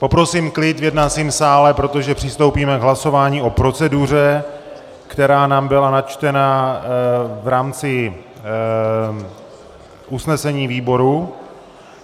Poprosím klid v jednacím sále, protože přistoupíme k hlasování o proceduře, která nám byla načtena v rámci usnesení výboru.